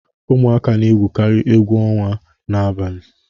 Ụmụaka na egwukari egwu onwa n'abalị.